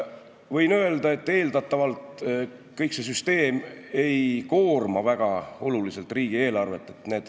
Võin öelda, et eeldatavalt kogu see süsteem ei koorma väga oluliselt riigieelarvet.